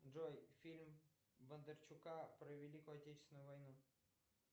джой фильм бондарчука про великую отечественную войну